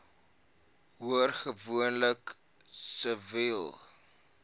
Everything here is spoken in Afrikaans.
hoor gewoonlik siviele